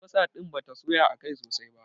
Albasa ɗin bata soya akai sosai ba.